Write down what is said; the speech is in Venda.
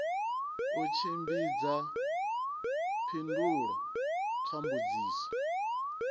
u tshimbidza phindulo kha mbudziso